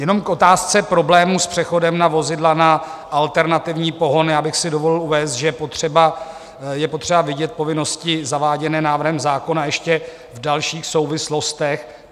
Jenom k otázce problémů s přechodem na vozidla na alternativní pohon bych si dovolil uvést, že je potřeba vidět povinnosti zaváděné návrhem zákona ještě v dalších souvislostech.